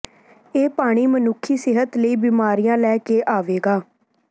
ਇਹ ਪਾਣੀ ਮਨੁੱਖੀ ਸਿਹਤ ਲਈ ਬਿਮਾਰੀਆਂ ਲੈ ਕੇ ਆਵੇਗਾ